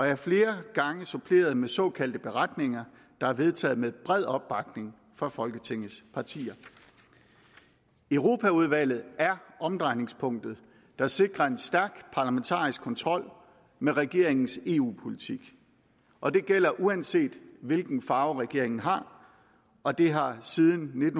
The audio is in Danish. er flere gange blevet suppleret med såkaldte beretninger der er vedtaget med bred opbakning fra folketingets partier europaudvalget er omdrejningspunktet der sikrer en stærk parlamentarisk kontrol med regeringens eu politik og det gælder uanset hvilken farve regeringen har og det har siden